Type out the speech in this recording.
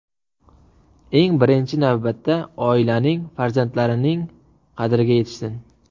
Eng birinchi navbatda oilaning, farzandlarining qadriga yetishsin.